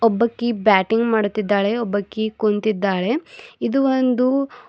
ಒಬ್ಬಕಿ batting ಮಾಡುತ್ತಿದ್ದಾಳೆ ಒಬ್ಬಕೀ ಕುಂತಿದ್ದಾಳೆ ಇದು ಒಂದು--